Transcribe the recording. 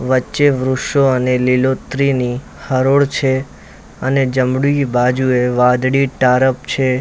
વચ્ચે વૃશો અને લીલોતરીની હરોળ છે અને જમણી બાજુએ વાદળી ટારફ છે.